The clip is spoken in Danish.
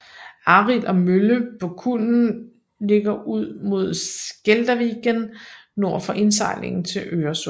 Arild og Mölle på Kullen ligger ud mod Skälderviken nord for indsejlingen til Øresund